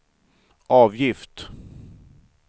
avgift